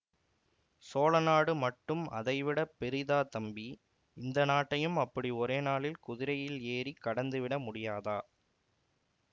சோழநாடு மட்டும் அதைவிடப் பெரிதா தம்பி இந்த நாட்டையும் அப்படி ஒரேநாளில் குதிரையில் ஏறி கடந்துவிட முடியாதா